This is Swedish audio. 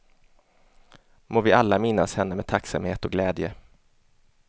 Må vi alla minnas henne med tacksamhet och glädje.